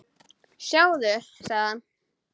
Sjáðu, sagði hann.